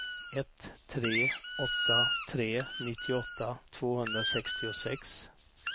ett tre åtta tre nittioåtta tvåhundrasextiosex